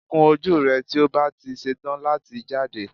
Kun ojú rẹ tí o bá ti ṣetán láti jáde